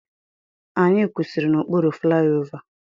Anyị kwụsịrị n'okpuru flaiova.